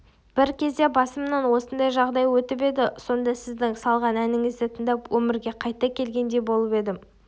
бір кезде басымнан осындай жағдай өтіп еді сонда сіздің салған әніңізді тыңдап өмірге қайта келгендей болып едім